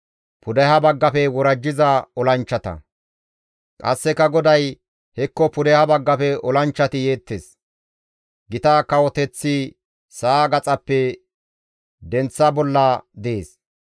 Qasseka GODAY, «Hekko pudeha baggafe olanchchati yeettes; gita kawoteththi sa7a gaxappe denththa bolla dees.